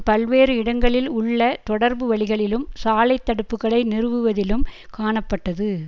பல்வேறு இடங்களில் உள்ள தொடர்பு வழிகளிலும் சாலை தடுப்புக்களை நிறுவுவதிலும் காணப்பட்டது